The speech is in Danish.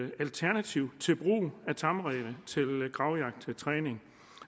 et alternativ til brug af tamræve til gravjagttræning